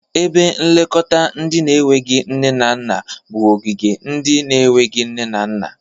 Ebe nlekọta ndị na-enweghi nne na nna bụ ogige ndị na-enweghi nne na nna.